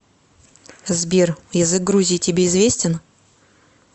сбер язык грузии тебе известен